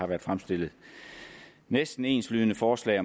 været fremsat næsten enslydende forslag